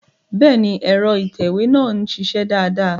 Bẹ́ẹ̀ni, ẹ̀rọ ìtẹ̀wé náà ń ṣiṣẹ́ dáadáa